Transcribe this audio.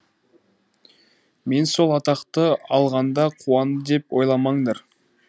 мен сол атақты алғанда қуанды деп ойламаңдар